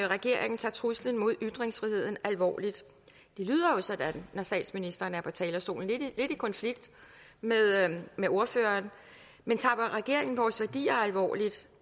regeringen tager truslen mod ytringsfriheden alvorligt det lyder jo sådan når statsministeren er på talerstolen lidt i konflikt med ordføreren men tager regeringen vores værdier alvorligt